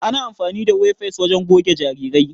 Ana amafani da wefas wajen goge jarirai.